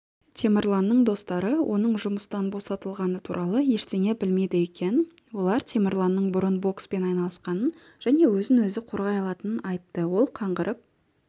темірланның достары оның жұмыстан босатылғаны туралы ештеңе білмейді екен олар темірланның бұрын бокспен айналысқанын және өзін-өзі қорғай алатынын айтты ол қаңғырып